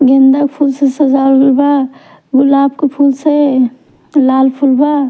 गेंदा फूल से सजावल बा गुलाब के फूल से लाल फूल बा--